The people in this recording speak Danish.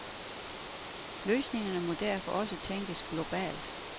Løsningerne må derfor også tænkes globalt.